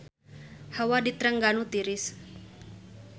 Hawa di Trengganu tiris